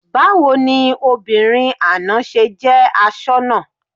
Báwo ni obìnrin àná ṣe jẹ́ asoná?